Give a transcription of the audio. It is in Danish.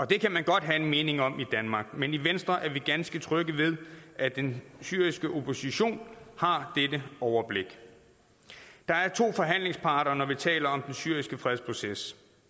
det kan man godt have en mening om i danmark men i venstre er vi ganske trygge ved at den syriske opposition har dette overblik der er to forhandlingsparter når vi taler den syriske fredsproces